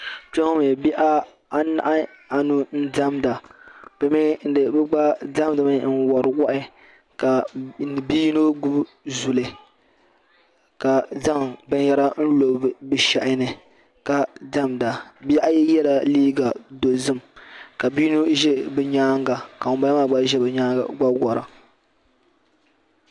Kpɛŋɔ mi bihi anahi anu n-diɛmda bɛ gba diɛmdimi n-wari waa ka bɛ yino gbubi zuli ka zaŋ binyɛra lo bɛ shɛhi ni ka diɛmda bihi ayi yela liiga dozim ka bi'yino ʒe bɛ nyaaŋa ka ŋun bala maa gba ʒe bɛ nyaaŋa gba wara.